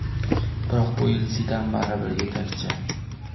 Biroq bu yil Zidan baribir yetakchi.